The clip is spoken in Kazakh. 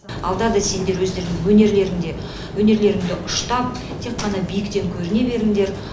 алда да сендер өздерің өнерлеріңді ұштап тек қана биіктен көріне беріңдер